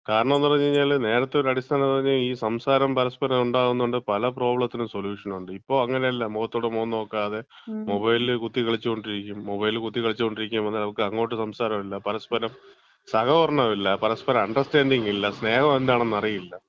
കാരണംന്ന് പറഞ്ഞ്കഴിഞ്ഞാല്, നേരത്തെ ഒരു അടിസ്ഥാനന്ന് പറഞ്ഞ് കഴിഞ്ഞാ ഈ സംസാരം പര്സ്പരം ഉണ്ടാവുന്നോണ്ട് പല പ്രോബ്ലത്തിനും സൊലൂഷ്യൻ ഉണ്ട്. ഇപ്പം അങ്ങനെയല്ല, മുഖത്തോട്മുഖം നോക്കാതെ മൊബൈലിൽ കുത്തിക്കളിച്ചോണ്ടിരിക്കും. മൊബൈലില് കുത്തികളിച്ചോണ്ടിരിക്കുമ്പോ അങ്ങോട്ട് സംസാരം ഇല്ല. പരസ്പരം സഹകരണമില്ല, പരസ്പരം അണ്ടർസ്റ്റാന്‍റിങ്ങ് ഇല്ല. സ്നേഹം എന്താണെന്ന് അറിയില്ല.